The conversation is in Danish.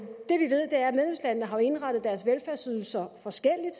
har indrettet deres velfærdsydelser forskelligt